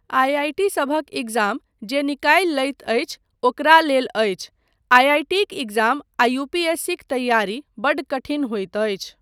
I I T सभक exam जे निकालि लैत अछि ओकरा लेल अछि, आइआइटीक एग्जाम आ यूपीएससीक तैयारी बड्ड कठिन होइत अछि।